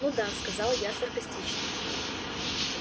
ну да сказала я саркастично